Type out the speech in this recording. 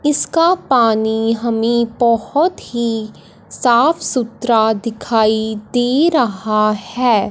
इसका पानी हमें बहोत ही साफ सुथरा दिखाई दे रहा है।